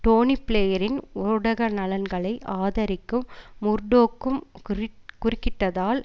டோனி பிளேயரின் ஊடக நலன்களை ஆதரிக்கும் முர்டோக்கும் குறிட் குறுகிட்டதால்